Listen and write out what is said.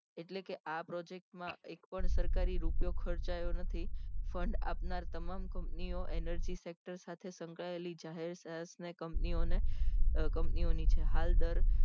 એટલે કે આ project એક પણ સરકારી રૂપિયો ખર્ચાયો નથી fund આપનાર તમામ company ઓ energy sector સાથે સંકળાયેલી જાહેર sels men company ઓ ને company ઓ ની હાલ દર